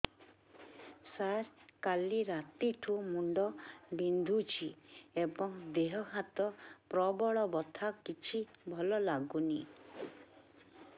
ସାର କାଲି ରାତିଠୁ ମୁଣ୍ଡ ବିନ୍ଧୁଛି ଏବଂ ଦେହ ହାତ ପ୍ରବଳ ବଥା କିଛି ଭଲ ଲାଗୁନି